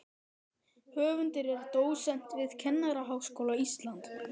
Höfundur er dósent við Kennaraháskóla Íslands.